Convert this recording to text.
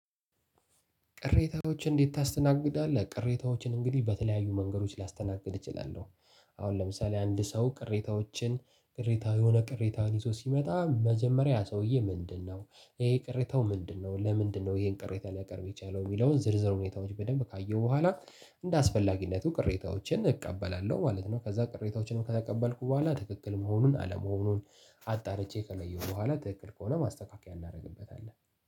ቅሬታዎችን እንዴት ታስተናግዳለህ? ቅሬታዎችን እንግዲህ በተለያዩ መንገዶች ላስተናግድ እችላለሁ አሁን ለምሳሌ አንድ ሰው ቅሬታዎችን ቅሬታ የሆነ ቅሬታን ይዞ ሲመጣ መጀመሪያ ሰውዬ ምንድነው? ይሄ ቅሬታው ምንድነው? ለምንድነው ይሄን ቅሬታ ሊያቀርብ የቻለው? የሚለውን ዝርዝር ሁኔታዎች በደንብ ካየሁ በኋላ እንደ አስፈላጊነቱ ቅሬታዎችን እቀበላለሁ ማለት ነው ከዛ ቅሬታዎችንም ከተቀበልኩ በኋላ ትክክል መሆኑን አለመሆኑን አጣርቼ ከለየሁ በኋላ ትክክል ከሆነ ማስተካከያ እናረግበታለን